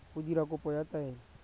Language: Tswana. go dira kopo ya taelo